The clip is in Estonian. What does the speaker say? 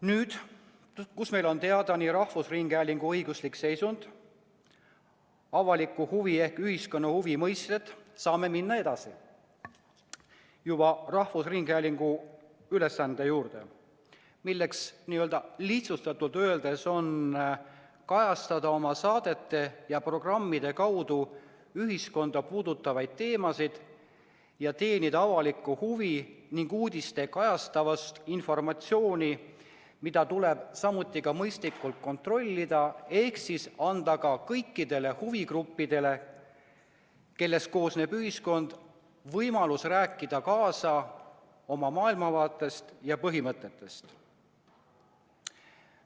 Nüüd, kus meil on teada nii rahvusringhäälingu õiguslik seisund ja avaliku huvi ehk ühiskonna huvi mõiste, saame minna edasi rahvusringhäälingu ülesande juurde, milleks lihtsustatult öeldes on kajastada oma saadete ja programmide kaudu ühiskonda puudutavaid teemasid ja teenida avalikku huvi ning uudistega kajastada informatsiooni, mida tuleb samuti mõistlikult kontrollida ehk anda kõikidele huvigruppidele, kellest ühiskond koosneb, võimalus rääkida kaasa oma maailmavaatest ja põhimõtetest lähtudes.